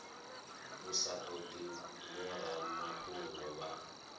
u sa todi vhoramafhungo vha